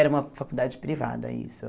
Era uma faculdade privada, isso.